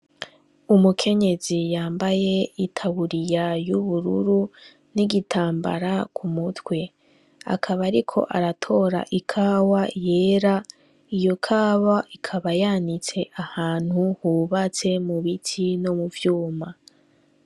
Umukenyezi yambaye itaburiya ry'ubururu n'igitambara ku mutwe. Akaba ariko aratora ikawa yera, iyo kawa ikaba yanitse ahantu hubatse mu biti no mu vyuma.